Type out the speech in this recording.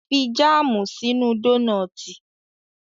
Fi jáàmù sínú dónọ́tì